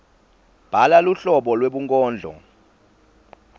bhala luhlobo lwebunkondlo